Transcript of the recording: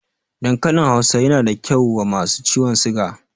Dankalin Hausa yana da kyau wa masu ciwon siga